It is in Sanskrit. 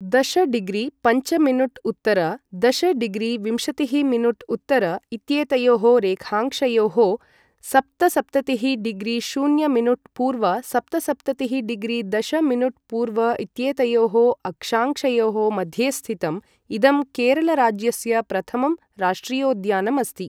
दश डिग्रि पञ्च मिनुट उत्तर दश डिग्रि विंशतिःमिनुट उत्तर इत्येतयोः रेखांशयोः सप्तसप्ततिः डिग्री शून्य मिनुट पूर्व सप्तसप्ततिःडिग्री दश मिनुट पूर्व इत्येतयोः अक्षांशयोः मध्ये स्थितं इदं केरल राज्यस्य प्रथमं राष्ट्रियोद्यानम् अस्ति।